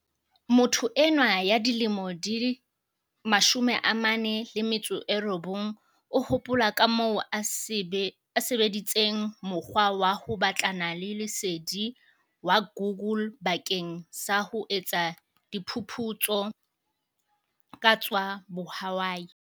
Motho enwa ya dilemo di 49 o hopola kamoo a sebe disitseng mokgwa wa ho batlana le lesedi wa Google bakeng sa ho etsa diphu putso ka tsa bohwai.